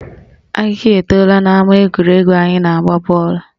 Ahịhịa etola n'ama egwuregwu anyị na-agba bọọlụ